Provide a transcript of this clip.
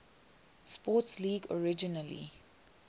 sports league originally